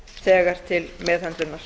þegar til meðhöndlunar